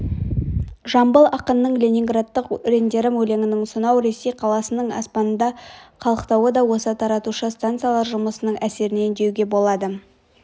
жамбыл ақынның ленинградтық өрендерім өлеңінің сонау ресей қаласының аспанында қалықтауы да осы таратушы станциялар жұмысының әсерінен деуге болады